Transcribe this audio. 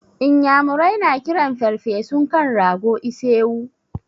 Inyamurai na kiran ferfesun kan rago da ise-wu.